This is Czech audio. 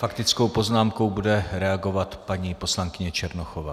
Faktickou poznámkou bude reagovat paní poslankyně Černochová.